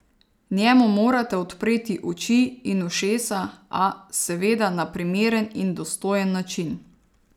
Njemu morate odpreti oči in ušesa, a, seveda, na primeren in dostojen način!